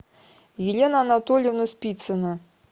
елена анатольевна спицина